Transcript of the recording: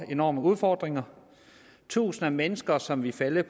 enorme udfordringer tusinder af mennesker som ville falde